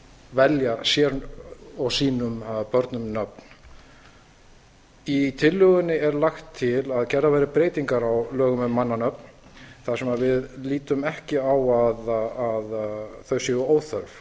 velja sér og sínum börnum nöfn í tillögunni er lagt til að gerðar verði breytingar á lögum um mannanöfn þar sem við lítum ekki á að þau séu óþörf